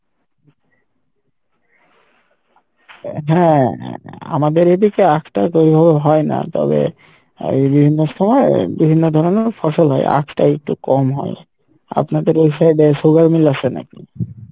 হ্যাঁ আমাদের এদিকে আখ টা হয়না তবে বিভিন্ন সময় বিভিন্ন ধরণের ফসল হয় আখটা একটু কম হয় আপনাদের ওই side এ sugar meal আসে নাকি?